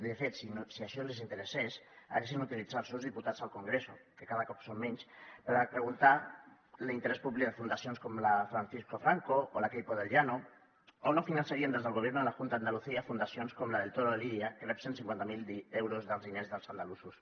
de fet si això els interessés haurien utilitzat els seus diputats al congreso que cada cop són menys per a preguntar l’interès públic de fundacions com la francisco franco o la queipo de llano o no finançarien des del gobierno de la junta de andalucía fundacions com la del toro de lidia que rep cent i cinquanta miler euros dels diners dels andalusos